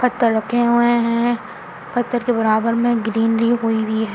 पत्थर रखे हुए हैं पत्थर के बराबर में ग्रीनरी हुई हुई है।